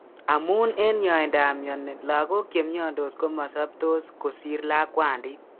Amun eng' yaaindab mioni lagok chemiondos komasobtos kosir lakwandit